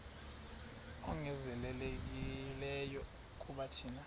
ongezelelekileyo kuba thina